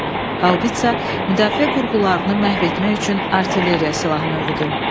Haubitsa müdafiə qurğularını məhv etmək üçün artilleriya silah növüdür.